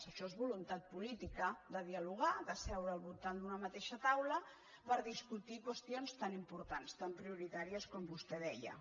això és voluntat política de dialogar de seure al voltant d’una mateixa taula per discutir qüestions tan importants tan prioritàries com vostè deia